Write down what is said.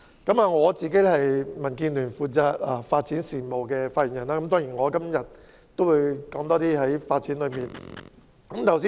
我是民主建港協進聯盟發展事務方面的發言人，所以今天的發言會較着重發展方面。